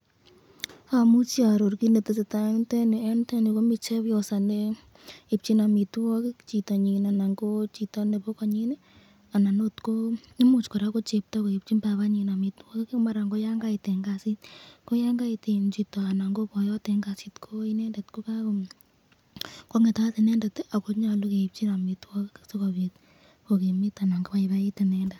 Amuchi aaror kit netesetai eng yu, miten chepyosa neibchin amitwakik chitanyin ,imuch koraa ko lakwet ne chepto neibchin kwanda amitwakik, mara ko Yan kait eng kasit, Yan itu chito eng kasit kokakonget, akonyalu keibchi amitwakik sikobit kobaibait inendet ako kimit.